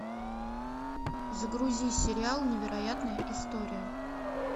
загрузи сериал невероятная история